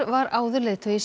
var áður leiðtogi